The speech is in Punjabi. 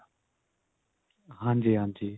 ਹਾਂਜੀ ਹਾਂਜੀ.